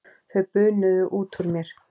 Þau bunuðu út úr mér.